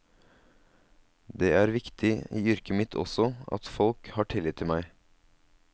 Det er viktig i yrket mitt også, at folk har tillit til meg.